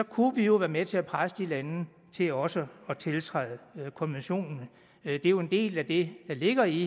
kunne vi jo være med til at presse de lande til også at tiltræde konventionen det er jo en del af det der ligger i